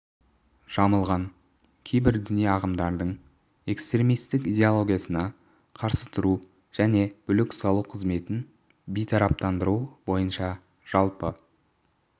жамылған кейбір діни ағымдардың экстремистік идеологиясына қарсы тұру және бүлік салу қызметін бейтараптандыру бойынша жалпы